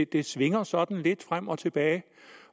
det svinger sådan lidt frem og tilbage